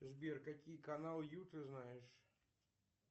сбер какие канал ю ты знаешь